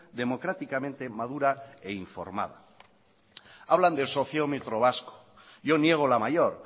democráticamente madura e informada hablan del sociómetro vasco yo niego la mayor